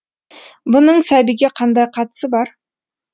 бұның сәбиге қандай қатысы бар